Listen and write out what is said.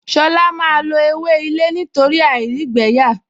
Ṣọlá máa lo ewé ilé nítorí àìrígbẹ̀ẹ́yà